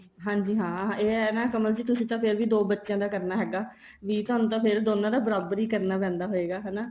ਹਾਂਜੀ ਹਾਂ ਇਹ ਹੈ ਨਾ ਕਮਲ ਜੀ ਤੁਸੀਂ ਤਾਂ ਫ਼ਿਰ ਵੀ ਦੋ ਬੱਚਿਆ ਦਾ ਕਰਨਾ ਹੈਗਾ ਵੀ ਤੁਹਾਨੂੰ ਤਾਂ ਫ਼ੇਰ ਦੋਨਾਂ ਦਾ ਬਰਾਬਰ ਹੀ ਕਰਨਾ ਪੈਂਦਾ ਹੋਏਗਾ ਹਨਾ